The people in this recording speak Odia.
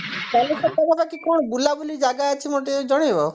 ବାଲେଶ୍ବରରେ ତମର କଣ ବୁଲାବୁଲି ଜାଗା ଅଛି ମତେ ଟିକେ ଜଣେଇବ